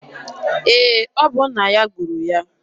Ee, ọ bụ nna ya gburu ya.